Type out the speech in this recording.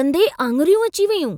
ॾंदे आङिरियूं अची वेयूं।